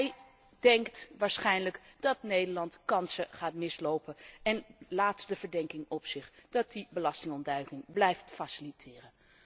Hij denkt waarschijnlijk dat Nederland kansen gaat mislopen en laat de verdenking op zich dat hij belastingontduiking blijft faciliteren.